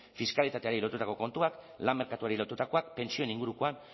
fiskalitateari lotutako kontuak lan merkatuari lotutakoak pentsioen ingurukoak